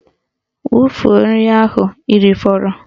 Wufuo nri ahụ ha rifọrọ!